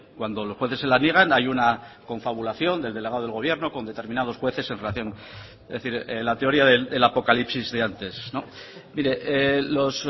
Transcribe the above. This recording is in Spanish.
cuando los jueces se la niegan hay una confabulación del delegado del gobierno con determinados jueces en relación es decir la teoría del apocalipsis de antes mire los